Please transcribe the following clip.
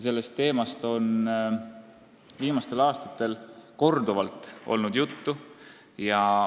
Sellest teemast on viimastel aastatel korduvalt juttu olnud.